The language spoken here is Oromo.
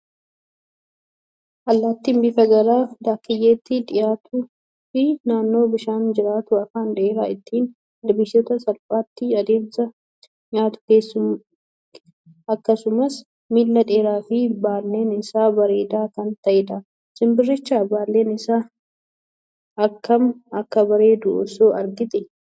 Allaattiin bifaan gara daakkiyyeetti dhiyaatuu fi naannoo bishaanii jiraatu afaan dheeraa ittiin ilbiisota salphaatti adamsee nyaatu akkasumas miila dheeraa fi baalleen isaa bareedaa kan ta'edha. Simbiricha baalleen isaa akkam akka bareedu osoo agartee!